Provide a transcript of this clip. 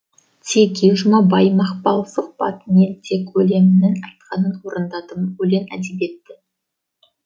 теги жұмабай мақпал сұхбат мен тек өлеңімнің айтқанын орындадым өлең әдебиет